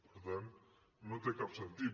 per tant no té cap sentit